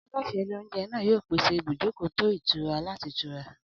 Aláṣẹ ilé-oúnjẹ náà yóò pèsè ibùjókòó tó ìtura láti tura.